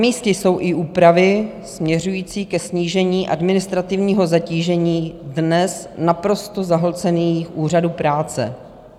Namístě jsou i úpravy směřující ke snížení administrativního zatížení dnes naprosto zahlcených úřadů práce.